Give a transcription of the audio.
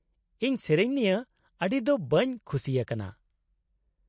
-ᱤᱧ ᱥᱮᱹᱨᱮᱹᱧ ᱱᱤᱭᱟᱹ ᱟᱹᱰᱤ ᱫᱚ ᱵᱟᱹᱧ ᱠᱷᱩᱥᱤ ᱟᱠᱟᱱᱟ ᱾